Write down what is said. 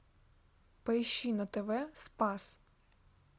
поищи на тв спас